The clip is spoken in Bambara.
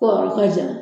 Ko yɔrɔ ka jan